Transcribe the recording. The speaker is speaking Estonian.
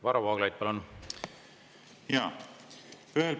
Varro Vooglaid, palun!